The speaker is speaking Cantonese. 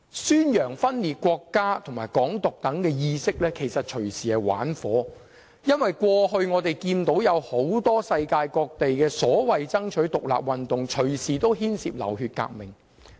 宣揚分裂國家和"港獨"等意識，其實隨時是在玩火，因為我們看到世界各地過去很多所謂爭取獨立的運動，隨時牽涉流血革命。